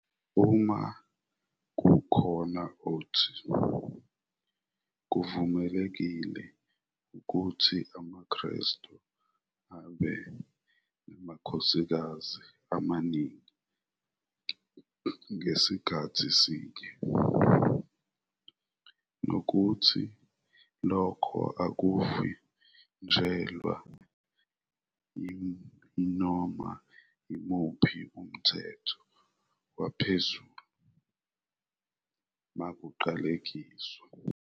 "Uma kukhona othi, kuvumelekile ukuthi amaKrestu abe namakhosikazi amaningi ngasikhathi sinye, nokuthi lokhu akuvinjelwa yinoma yimuphi umthetho waphezulu, makaqalekiswe.